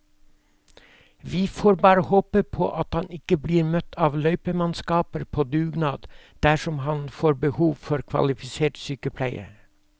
Vi får bare håpe at han ikke blir møtt av løypemannskaper på dugnad dersom han får behov for kvalifisert sykepleie.